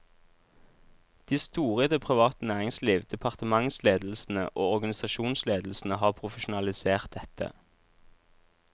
De store i det private næringsliv, departementsledelsene og organisasjonsledelsene har profesjonalisert dette.